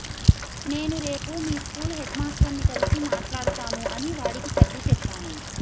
నేను రేపు మీ స్కూల్ హెడ్మాస్టర్ని కలిసి మాట్లాడతాను అని వాడికి సర్ది చెప్పాను